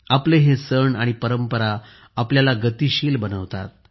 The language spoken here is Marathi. आपले हे सण आणि परंपरा आपल्याला गतिमानता देतात